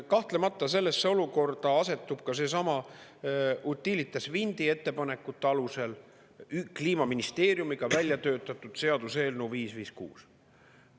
Kahtlemata, sellesse olukorda asetub sellesama Utilitas Windi ettepanekute alusel Kliimaministeeriumiga välja töötatud seaduseelnõu 556.